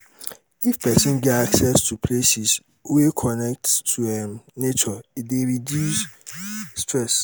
if persin get access to places um wey um connect to um nature e de reduce stress